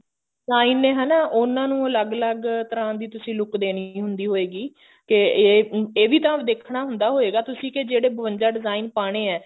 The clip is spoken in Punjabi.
design ਨੇ ਹਨਾ ਉਹਨਾਂ ਨੂੰ ਅੱਲਗ ਅੱਲਗ ਤਰ੍ਹਾਂ ਦੀ ਤੁਸੀਂ look ਦੇਣੀ ਹੁੰਦੀ ਹੋਏਗੀ ਤੇ ਇਹ ਇਹ ਵੀ ਤਾਂ ਦੇਖਣਾ ਹੁੰਦਾ ਹੋਏਗਾ ਤੁਸੀਂ ਕੇ ਜਿਹੜੇ ਬਵੰਜਾ design ਪਾਨੇ ਆ